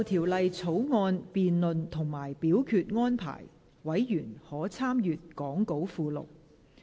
就條例草案的辯論及表決安排，委員可參閱講稿附錄。